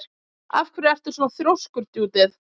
Af hverju ertu svona þrjóskur, Judith?